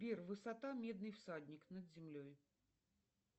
сбер высота медный всадник над землей